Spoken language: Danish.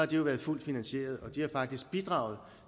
de jo været fuldt finansieret og de har faktisk bidraget